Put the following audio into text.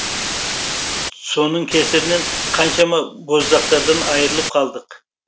соның кесірінен қаншама боздақтардан айырылып қалдық